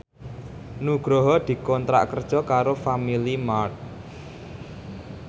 Nugroho dikontrak kerja karo Family Mart